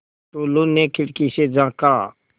टुल्लु ने खिड़की से झाँका